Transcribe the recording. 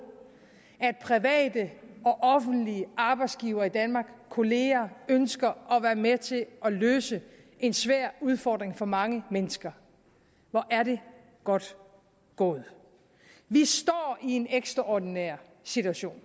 at private og offentlige arbejdsgivere i danmark kolleger ønsker at være med til at løse en svær udfordring for mange mennesker hvor er det godt gået vi står i en ekstraordinær situation